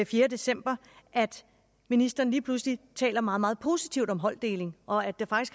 fjerde december at ministeren lige pludselig taler meget meget positivt om holddeling og at der